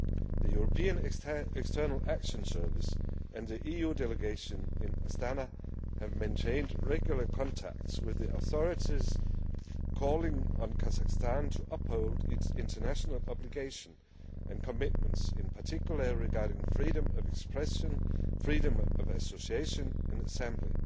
The European External Action Service and the EU Delegation in Astana have maintained regular contacts with the authorities, calling on Kazakhstan to uphold its international obligations and commitments, in particular regarding freedom of expression, freedom of association and assembly.